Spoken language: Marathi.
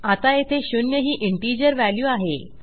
आता येथे शून्य ही इंटिजर व्हॅल्यू आहे